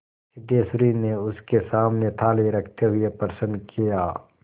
सिद्धेश्वरी ने उसके सामने थाली रखते हुए प्रश्न किया